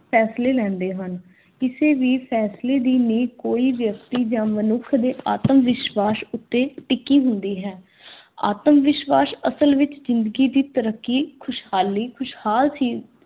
ਫੈਸਲੇ ਲੈਂਦੇ ਹਨ। ਕਿਸੇ ਵੀ ਫੈਸਲੇ ਦੀ ਨੀਂਹ ਕੋਈ ਵਿਅਕਤੀ ਜਾਂ ਮਨੁੱਖ ਦੇ ਆਤਮ-ਵਿਸ਼ਵਾਸ ਉੱਤੇ ਟਿਕੀ ਹੁੰਦੀ ਹੈ। ਆਤਮ-ਵਿਸ਼ਵਾਸ ਅਸਲ ਵਿੱਚ ਜ਼ਿੰਦਗੀ ਦੀ ਤਰੱਕੀ, ਖੁਸ਼ਹਾਲੀ, ਖੁਸ਼ਹਾਲ ਸੀ।